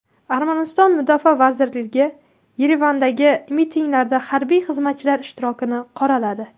Armaniston mudofaa vazirligi Yerevandagi mitinglarda harbiy xizmatchilar ishtirokini qoraladi.